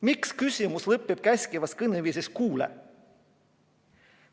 Miks küsimus lõpeb käskivas kõneviisis: kuule?